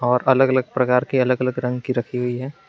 और अलग अलग प्रकार के अलग अलग रंग की रखी हुई है।